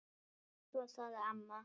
Svo sagði mamma